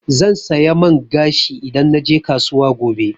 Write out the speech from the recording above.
Zan saya man gashi idan naje kasuwa gobe.